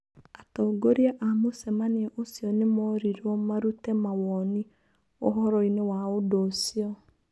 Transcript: Atongoria a mũcemanio ũcio nĩmorirwo marute mawoni ũhoroinĩ wa ũndũũcio.